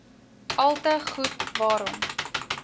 alte goed waarom